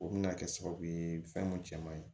O bɛna kɛ sababu ye fɛn mun cɛ man ɲi